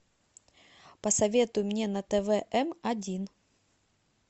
посоветуй мне на твм один